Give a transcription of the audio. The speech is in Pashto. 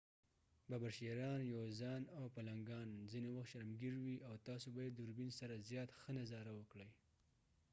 ببر شېران یوزان او پلنګان ځنه وخت شرمګیر وي او تاسو به يې دوربین سره زیات ښه نظاره وکړئ